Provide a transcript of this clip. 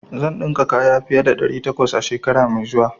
Zan dinka kaya fiye da ɗari takwas a shekara mai zuwa.